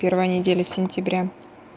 первая неделя сентября